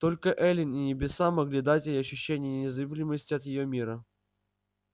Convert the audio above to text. только эллин и небеса могли дать ей ощущение незыблемости от её мира